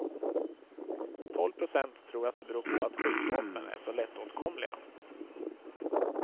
Tolv procent tror att det beror på att skjutvapen är så lättåtkomliga.